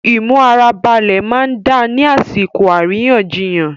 Imu ara balẹ máa n da ni àsìkò àríyànjiyàn.